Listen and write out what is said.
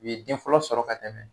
U ye den fɔlɔ sɔrɔ ka dɛmɛ